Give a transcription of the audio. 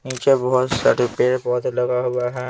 पीछे बहुत सारे पेड़ पौधे लगा हुआ है।